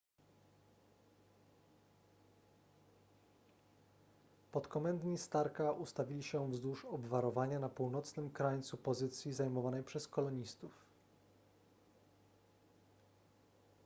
podkomendni starka ustawili się wzdłuż obwarowania na północnym krańcu pozycji zajmowanej przez kolonistów